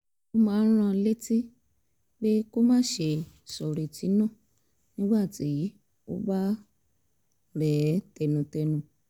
ọ máa ń rán an létí pé kó má ṣe sọ̀rètí nù nígbà tó bá rẹ̀ ẹ́ tẹnutẹnu